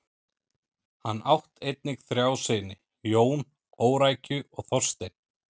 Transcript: Hann átt einnig þrjá syni: Jón, Órækju og Þorstein.